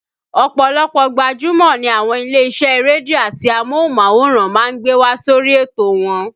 Ọ̀pọ̀lọpọ̀ gbajúmọ̀ ni àwọn ilé-isẹ́ rédíò àti amóhùnmáwòrán máa ń gbé wá sórí ètò wọn